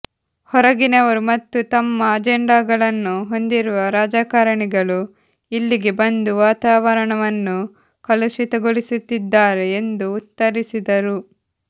ಹೊರಗಿನವರು ಮತ್ತು ತಮ್ಮ ಅಜೆಂಡಾಗಳನ್ನು ಹೊಂದಿರುವ ರಾಜಕಾರಣಿಗಳು ಇಲ್ಲಿಗೆ ಬಂದು ವಾತಾವರಣವನ್ನು ಕಲುಷಿತಗೊಳಿಸುತ್ತಿದ್ದಾರೆ ಎಂದು ಉತ್ತರಿಸಿದರು